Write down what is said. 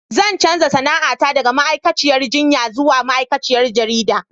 Zan canza sana'ata daga ma'aikaciyar jinya zuwa ma'aikaciyar jarida.